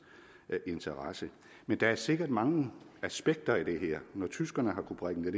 interesse men der er sikkert mange aspekter i det her når tyskerne har kunnet bringe det